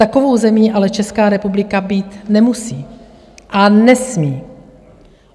Takovou zemí ale Česká republika být nemusí a nesmí.